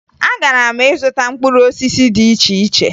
Agara m ịzụta mkpụrụ osisi dị iche iche